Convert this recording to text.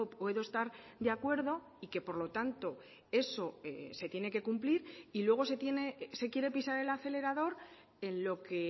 puedo estar de acuerdo y que por lo tanto eso se tiene que cumplir y luego se quiere pisar el acelerador en lo que